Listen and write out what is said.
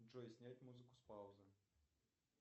джой снять музыку с паузы